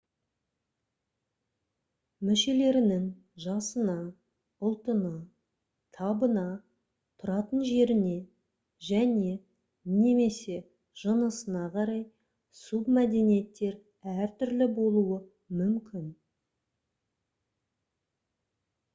мүшелерінің жасына ұлтына табына тұратын жеріне және/немесе жынысына қарай субмәдениеттер әртүрлі болуы мүмкін